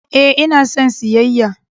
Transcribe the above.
Ee, ina son siyayya!